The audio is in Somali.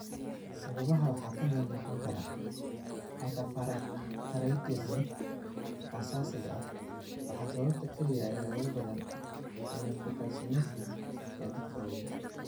Sababaha waxaa ka mid noqon kara: hyperparathyroidism aasaasiga ah waa sababta kaliya ee ugu badan ee nephrocalcinosis ee dadka waaweyn.